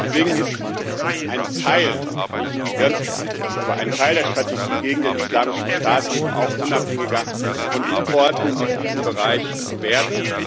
Deswegen ist ein Teil nicht die ganze Strategie, aber ein Teil der Strategie gegen den Islamischen Staat eben auch, unabhängiger von Importen aus diesem Bereich zu werden.